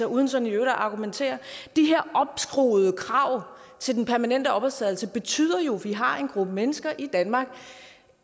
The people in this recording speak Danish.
uden sådan i øvrigt at argumentere de her opskruede krav til den permanente opholdstilladelse betyder jo at vi har en gruppe mennesker i danmark